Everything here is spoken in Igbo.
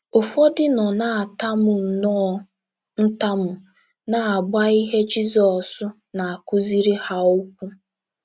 Ụfọdụ nọ na - atamu nnọọ ntamu, na - agba ihe Jizọs na - akụziri ha ụkwụ.